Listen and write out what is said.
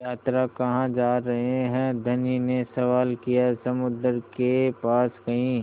यात्रा कहाँ जा रहे हैं धनी ने सवाल किया समुद्र के पास कहीं